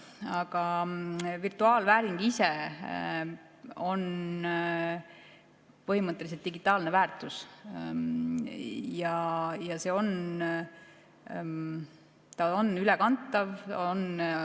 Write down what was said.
Aga virtuaalvääring ise on põhimõtteliselt digitaalne väärtus ja see on ülekantav.